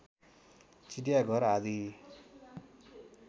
चिडियाघर आदि